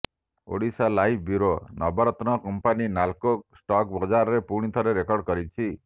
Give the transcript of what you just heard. Odisha live bureau Navratna company NALCO stock ବଜାରରେ ପୁଣିଥରେ record କରିଛି